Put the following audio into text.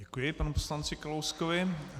Děkuji panu poslanci Kalouskovi.